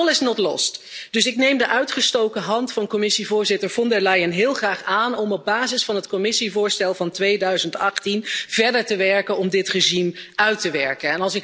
Maar all is not lost dus ik neem de uitgestoken hand van Commissievoorzitter Von der Leyen heel graag aan om op basis van het Commissievoorstel van 2018 verder te werken om dit regime uit te werken.